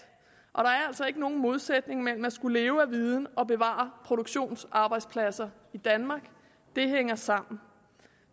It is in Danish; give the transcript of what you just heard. altså ikke nogen modsætning mellem at skulle leve af viden og bevare produktionsarbejdspladser i danmark det hænger sammen